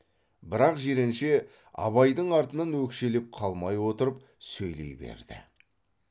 бірақ жиренше абайдың артынан өкшелеп қалмай отырып сөйлей берді